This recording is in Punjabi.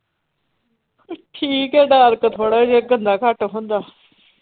ਠੀਕ ਆ dark ਥੋੜਾ ਜੇਹਾ ਗੰਦਾ ਘੱਟ ਹੁੰਦਾ।